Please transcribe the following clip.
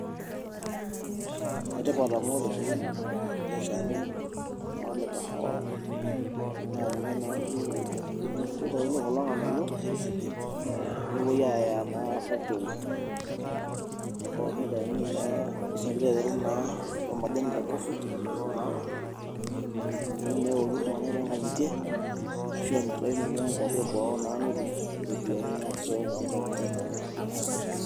Enetipat amu ore dopi ele shani naa olekahawa, naa kitayuni kulo nganayio nepoi aya naa factories. Nitayuni ormaasani naa le coffee, amu ninye eok iltunganak toonkangitie ashu eyai naa kwapi eboo pee tum ropiyiani naasisho toonkangitie enye.